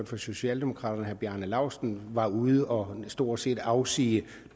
for socialdemokraterne herre bjarne laustsen var ude og stort set afsige